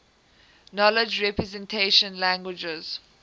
knowledge representation languages